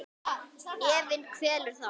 Efinn kvelur þá.